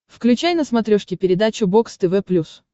включай на смотрешке передачу бокс тв плюс